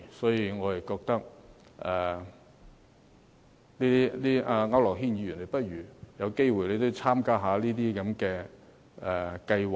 所以，我覺得區諾軒議員，如果有機會的話，你也應該參加一下這些計劃。